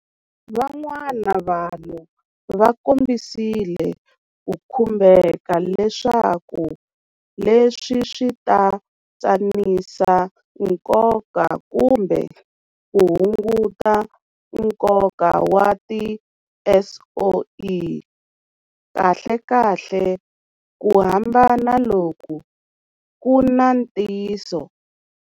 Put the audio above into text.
Van'wana vanhu va kombisile ku khumbeka leswaku leswi swi ta tsanisa nkoka kumbe ku hunguta nkoka wa tiSOE. Kahlekahle, ku hambana loku ku na ntiyiso.